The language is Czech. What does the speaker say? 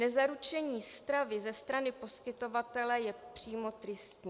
Nezaručení stravy ze strany poskytovatele je přímo tristní.